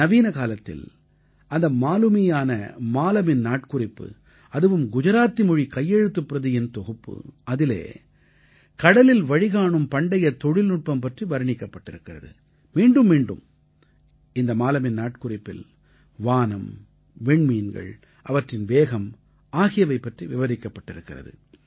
நவீனகாலத்தில் அந்த மாலுமியான மாலமின் நாட்குறிப்பு அதுவும் குஜராத்தி மொழி கையெழுத்துப் பிரதியின் தொகுப்பு அதிலே கடலில் வழிகாணும் பண்டைய தொழில்நுட்பம் பற்றி வர்ணிக்கப் பட்டிருக்கிறது மீண்டும் மீண்டும் இந்த மாலமின் நாட்குறிப்பில் வானம் விண்மீன்கள் அவற்றின் வேகம் ஆகியவை பற்றி விவரிக்கப்பட்டிருக்கிறது